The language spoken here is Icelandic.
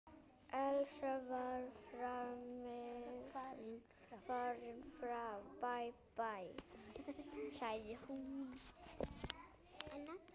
Elsa var farin fram.